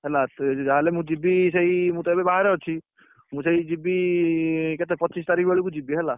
ହେଲା ଯାହା ହେଲେ ମୁ ଯିବି ସେଇ ମୁଁ ତ ଏବେ ବାହାରେ ଅଛି ମୁଁ ସେଇ ଯିବି କେତେ ପଚିଶି ତାରିଖ ବେଳକୁ ଯିବି ହେଲା!